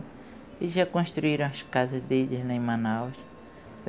Eles já construíram as casas deles lá em Manaus.